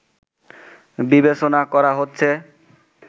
বিবেচনা করা হচ্ছে